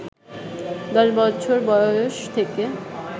১০ বছর বয়স থেকে